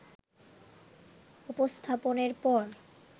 উপস্থাপনের পর